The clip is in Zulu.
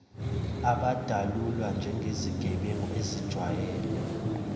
abadalulwa njengezigebengu ezijwayele